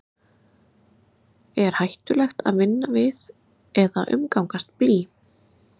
er hættulegt að vinna við eða umgangast blý